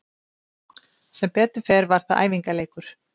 Sem betur fer var það æfingaleikur.